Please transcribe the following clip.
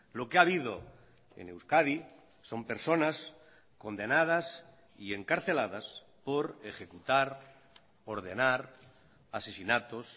lo que ha habido en euskadi son personas condenadas y encarceladas por ejecutar ordenar asesinatos